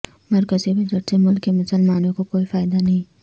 مرکزی بجٹ سے ملک کے مسلمانوں کو کوئی فائدہ نہیں